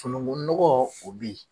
nɔgɔ o bɛ yen